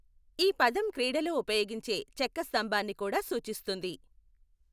ఈ పదం క్రీడలో ఉపయోగించే చెక్క స్తంభాన్ని కూడా సూచిస్తుంది.